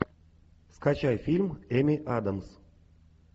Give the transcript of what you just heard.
скачай фильм эми адамс